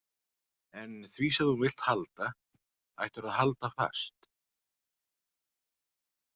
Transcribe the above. En því sem þú vilt halda, ættirðu að halda fast.